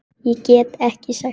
Ég get ekki sagt það.